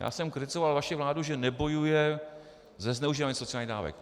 Já jsem kritizoval vaši vládu, že nebojuje se zneužíváním sociálních dávek.